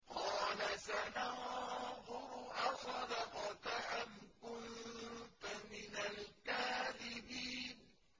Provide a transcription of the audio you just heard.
۞ قَالَ سَنَنظُرُ أَصَدَقْتَ أَمْ كُنتَ مِنَ الْكَاذِبِينَ